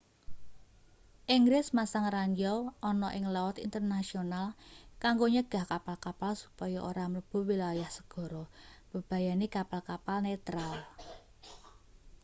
inggris masang ranjau ana ing laut internasional kanggo nyegah kapal-kapal supaya ora mlebu wilayah segara mbebayani kapal-kapal netral